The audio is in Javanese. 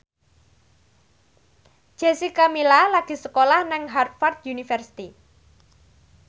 Jessica Milla lagi sekolah nang Harvard university